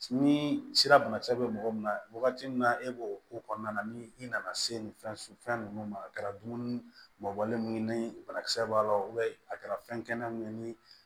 Ni sira banakisɛ bɛ mɔgɔ min na wagati min na e b'o ko kɔnɔna na ni i nana se ni fɛn ninnu ma a kɛra dumuni mɔbɔlen ye ni banakisɛ b'a la a kɛra fɛn kɛnɛ min ye ni